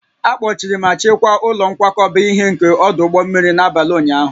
A kpọchiri ma chekwaa ụlọ nkwakọba ihe nke ọdụ ụgbọ mmiri n'abalị ụnyahụ